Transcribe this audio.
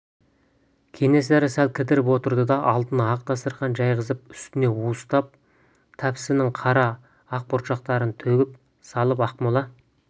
кенесары сәл кідіріп отырды да алдына ақ дастарқан жайғызып үстіне уыстап тәспінің қара ақ бұршақтарын төгіп салып ақмола